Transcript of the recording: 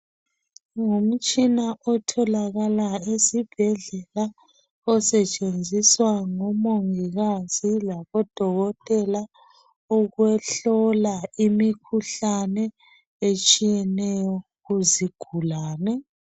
Ngumtshina otholakala esibhedlela osetshenziswa ngomongikazi labodokotela ukuhlola imikhuhlane etshiyeneyo kuzigulane.